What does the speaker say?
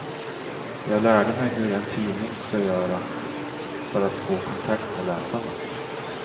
Jag lärde mig hur en tidning ska göra för att få kontakt med läsarna.